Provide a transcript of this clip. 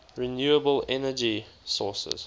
renewable energy sources